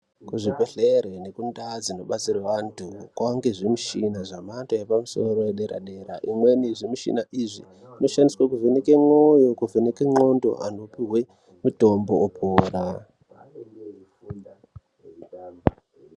Kuzvibhedhlera nekundawu dzinobatsira vandu kwava nezvimishini zvemhando yepamusoro yepadera dera imweni zvimushina izvi zvinoshandiswe kuvheneke mwoyo kuvheneke ngqondo anopiwe mutombo opora.